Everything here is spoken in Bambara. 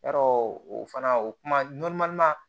Yɔrɔ o fana o kuma